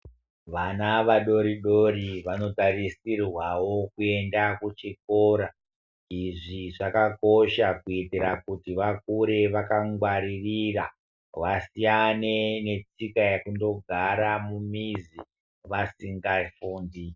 Vana vadori dori vanotarisirwawo kuenda kuchikora izvi zvakakosha kuitira kuti vakure vakangwaririra vasiyane netsika yekutogara mumizi vasingafundi.